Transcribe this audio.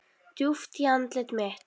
Djúpt í andlit mitt.